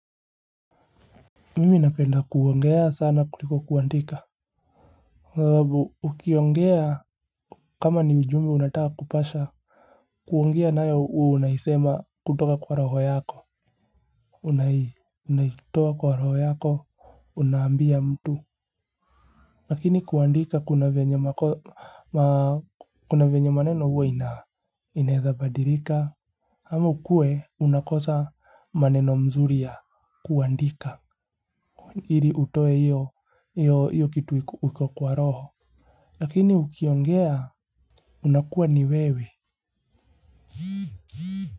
Mimi napenda kuongea sana kuliko kuandika. Zababu ukiongea kama ni ujumbe unataka kupasha. Kuongea nayo unaisema kutoka kwa roho yako. Unai unaitoa kwa raho yako unambia mtu. Lakini kuandika kuna venye mako maa. Kuna venye maneno huwa ina inezabadirika. Hamu kue unakosa maneno mzuri ya kuandika. Ili utoe iyo, iyo kitu uko kwa roho. Lakini ukiongea, unakuwa ni wewe.